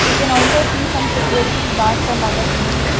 we can also see some security gaurds and other people.